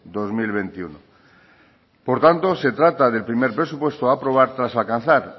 dos mil veintiuno por tanto se trata del primer presupuesto a aprobar tras alcanzar